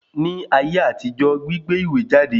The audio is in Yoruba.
Ní ayé àtijọ́, gbígbé ìwé jáde